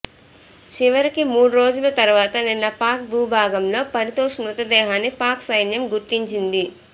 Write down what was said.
చివరికి మూడు రోజుల తర్వాత నిన్న పాక్ భూభాగంలో పరితోశ్ మృతదేహాన్ని పాక్ సైన్యం గుర్తించింది